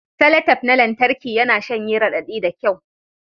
Salatep na lantarki yana shanye raɗaɗi da kyau